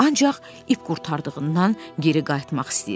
Ancaq ip qurtardığından geri qayıtmaq istəyirdi.